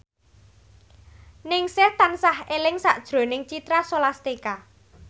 Ningsih tansah eling sakjroning Citra Scholastika